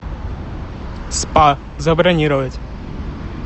спа забронировать